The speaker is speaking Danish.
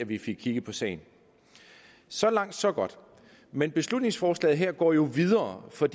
vi fik kigget på sagen så langt så godt men beslutningsforslaget her går jo videre for